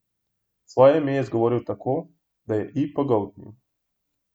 Svoje ime je izgovoril tako, da je i pogoltnil.